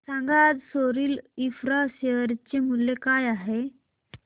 सांगा आज Soril Infra share चे मूल्य काय आहे